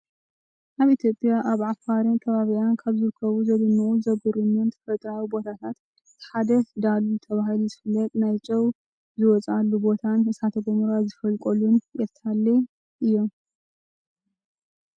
ኣብ ኢትዮጵያ ኣብ ኣፋርን ከባቢኣን ካብ ዝርከቡ ዘደነቁን ዝገርሙን ተፈጥራዊ ቦታታት እቲ ሓደ ዳሉል ተባሂሉ ዝፍለጥ ናይ ጨው ዝወፅኣሉ ቦታን እሳተ ጎመራ ዝፈልቀሉ ኤርታሌን እዮም።